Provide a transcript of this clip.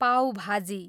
पाउ भाजी